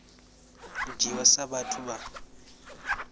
u dzhiiwa sa vhathu vha